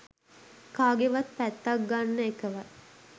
කාගෙවත් පැත්තක් ගන්න එකවත්